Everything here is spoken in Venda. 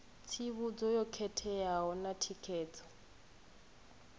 tsivhudzo yo khetheaho na thikedzo